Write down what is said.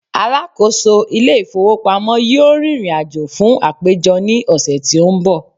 alákóso ilé ifowópamọ́ yíò ririnajo fún àpéjọ ni ọsẹ ti o n bo